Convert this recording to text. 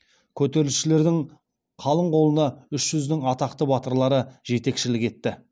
көтерісшілердің қалың қолына үш жүздің атақты батырлары жетекшілік етті